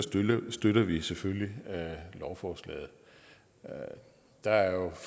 støtter vi selvfølgelig lovforslaget der er